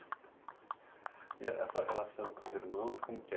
E a sua relação com os irmãos, como que er